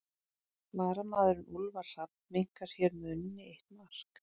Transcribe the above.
Varamaðurinn Úlfar Hrafn minnkar hér muninn í eitt mark.